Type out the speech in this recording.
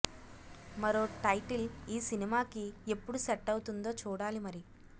మరో టైటిల్ ఈ సినిమాకి ఎప్పుడు సెట్ అవుతుందో చూడాలి మరి